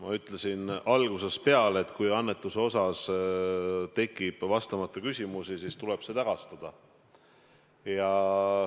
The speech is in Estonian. Ma ütlesin algusest peale, et kui annetuse suhtes tekib vastamata küsimusi, siis tuleb see tagastada.